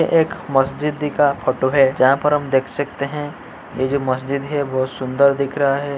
ये एक मस्जिदी का फोटो है जहाँ पर हम देख सकते हैं ए जो मस्जिद है वो सुन्दर दिख रहा है।